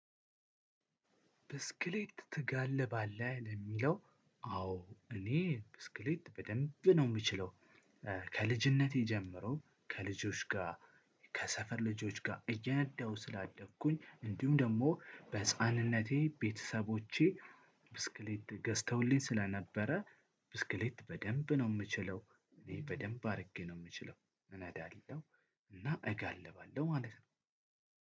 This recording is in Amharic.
ብስክሌት ትጋልባለህ ለሚለው? አዎ እኔ ብስክሌት በደንብ ነው የምችለው። ከልጅነቴ ጀምሮ ከልጆች ጋር ከሰፈር ልጆች ጋር እየነዳው ስላደኩኝ እንዲሁም ደግሞ በህፃንነቴ ቤተሰቦቼ ገዝተውልኝ ስለነበረ። ብስክሌት በደንብ ነው የምችለው። በደንብ አድርጌ ነው የምችለው እወዳለው። እና እጋልባለው ማለት ነው።